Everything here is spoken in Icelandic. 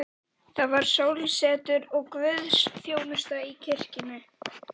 Það var sólsetur og guðsþjónusta í kirkjunni.